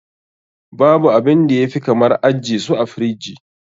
Babu abinda ya fi kamar ajje su a firiji.